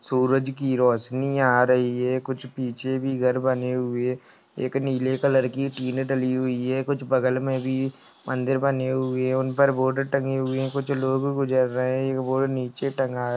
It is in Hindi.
सूरज की रोशनी आ रही है कुछ पीछे भी घर बने हुए एक नीले कलर की टीन डली हुई है कुछ बगल में भी मंदिर बने हुए हैं उन पर बोर्ड टंगे हुए कुछ लोग गुजर रहे हैं एक बोर्ड नीचे टंगा--